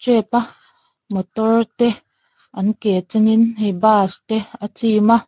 a motor te an ke chenin hei bus te a chim a.